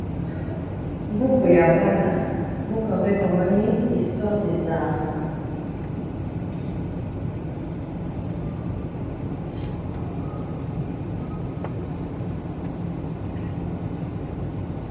mbuku ya bana mbuku yango ekomami istware desare